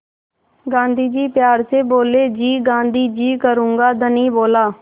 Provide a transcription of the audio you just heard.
गाँधी जी प्यार से बोले जी गाँधी जी करूँगा धनी बोला